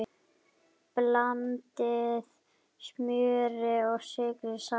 Blandið smjöri og sykri saman.